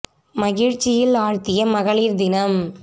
மகிழ்ச்சியில் ஆழ்த்திய ம க ளி ர் தி ன ம்